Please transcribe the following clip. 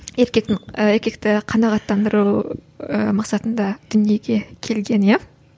еркектің еркекті қанағаттандыру ііі мақсатында дүниеге келген иә